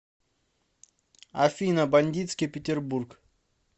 афина бандитский питербург